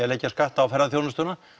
að leggja skatt á ferðaþjónustuna